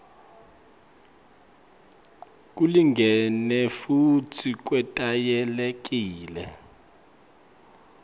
kulingene futsi kwetayelekile